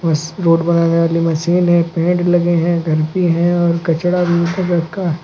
road बनाने वाली machine है पेड़ लगे है घर भी है और कचड़ा भी --